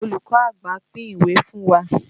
Olùkọ́ àgbà pín ìwé fún wa.